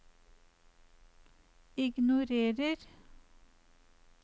ignorer